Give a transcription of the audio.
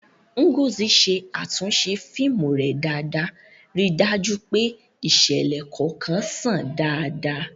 Ngozi ṣe àtúnṣe fíìmù rẹ̀ dáadáa, ríi dájú pé ìṣẹ̀lẹ̀ kọ̀ọ̀kan ṣàn dáadáa.